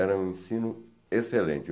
Era um ensino excelente.